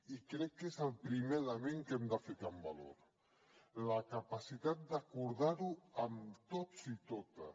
i crec que és el primer element que hem de ficar en valor la capacitat d’acordar ho amb tots i totes